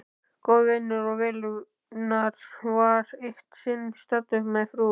Góður vinur og velunnari var eitt sinn staddur með frú